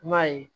I m'a ye